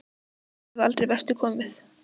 En ég hef aldrei vestur komið.